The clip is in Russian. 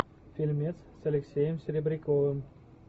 фильмец с алексеем серебряковым